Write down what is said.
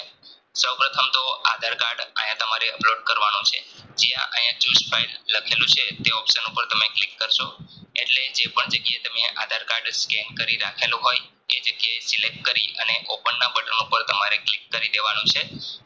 Upload કરવાનું છે જ્યાં આયા Choose file લખેલું છે તે option ઉપર તમે click કરસો એટલે જેપણ જગ્યાએ તમે આધાર card scan કરી રાખેલું હોય તે જગ્યાએ Select કરી અને Open ના બટન ઉપર click દેવાનું છે.